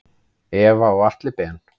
Eva og Atli Ben.